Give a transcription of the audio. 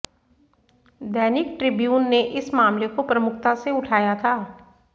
दैनिक Tribune ने इस मामले को प्रमुखता से उठाया था